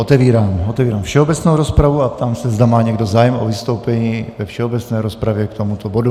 Otevírám všeobecnou rozpravu a ptám se, zda má někdo zájem o vystoupení ve všeobecné rozpravě k tomuto bodu.